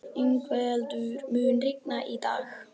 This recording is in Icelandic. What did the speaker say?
Yngveldur, mun rigna í dag?